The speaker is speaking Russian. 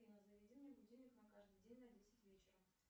афина заведи мне будильник на каждый день на десять вечера